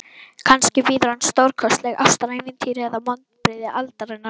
Kannski bíður hans stórkostlegt ástarævintýri eða vonbrigði aldarinnar.